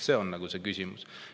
See on küsimus.